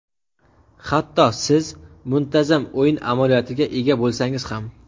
hatto siz muntazam o‘yin amaliyotiga ega bo‘lsangiz ham.